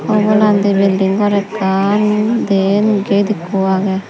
obolandi bilidng gor ekkan dyen gate ikko agey.